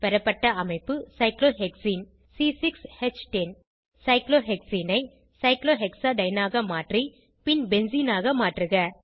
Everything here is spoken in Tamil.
பெறப்பட்ட அமைப்பு சைக்ளோஹெக்சீன் சைக்ளோஹெக்சீனை சைக்ளோஹெக்சாடைன் ஆக மாற்றி பின் பென்சீனாக மாற்றுக